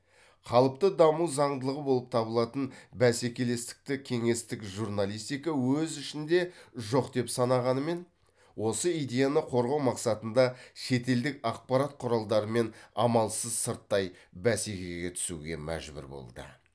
қалыпты даму заңдылығы болып табылатын бәсекелестікті кеңестік журналистика өз ішінде жоқ деп санағанымен осы идеяны қорғау мақсатында шетелдік ақпарат құралдарымен амалсыз сырттай бәсекеге түсуге мәжбүр болды